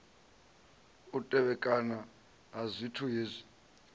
u tevhekana ha zwithu hezwi